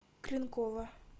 кленкова